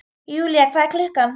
Julia, hvað er klukkan?